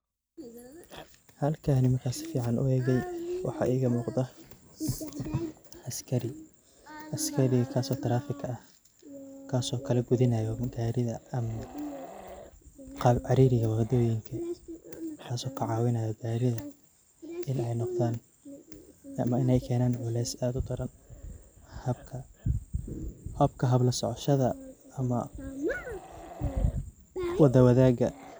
Halkani markan sifican uegey waxaa igamuqdah askari, askarigas oo ah tarafika ah kaso kalagudinayo gari ama qab caririga wadoyinka kas oo kacawinayo garida in ay noqdan ama in ay kenan cules ad udaran. Habka hab lasocoshada ama wada wadag.